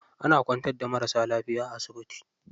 Ana kwantar da marasa lafiya a asibiti.